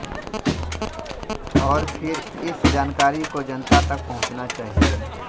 और फिर इस जानकारी को जनता तक पहुंचाना चाहिए